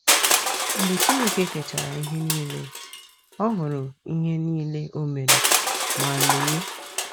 Mgbe Chineke kechara ihe niile, ọ “ hụrụ ihe niile o mere, ma, lee!